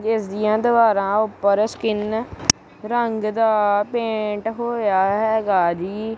ਇਸ ਦੀਆਂ ਦੀਵਾਰਾਂ ਉਪਰ ਸਕਿਨ ਰੰਗ ਦਾ ਪੇਂਟ ਹੋਇਆ ਹੈਗਾ ਜੀ।